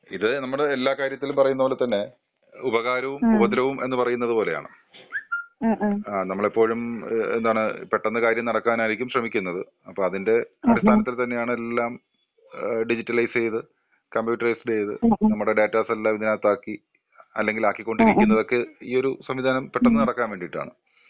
ഇത് ഞമ്മുടെ എല്ലാ കാര്യത്തിലും പറയുന്നത് പോലെ തന്നെ ഉപകാരവും ഉപദ്രവവും എന്ന് പറയുന്നത് പോലെയാണ്ആ ഞമ്മളെപ്പൊഴും പെട്ടന്നു കാര്യം നടക്കാനായിരിക്കും ശ്രമിക്കുന്നത് അതിന്റെ അടിസ്ഥാനത്തിൽ തന്നെ എല്ലം ഡിജിറ്റലൈസ് ചെയത് കമ്പ്യൂട്ടറൈ ചെയ്ത് ഡാറ്റാസെല്ലം ഇതിനകത്താക്കി അല്ലെങ്കിൽ ആക്കിക്കൊണ്ടിരിക്കുന്നതൊക്കേ ഈ ഒരു സംവിദാനം പെട്ടന്നു നടക്കാൻ വേണ്ടീട്ടാണ്.